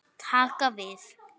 Taka við?